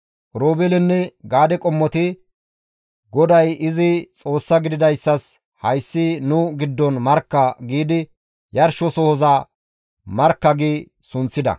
Oroobeeleynne Gaade qommoti, «GODAY izi Xoossaa gididayssas hayssi nu giddon markka» giidi yarshosohoza, «Markka» gi sunththida.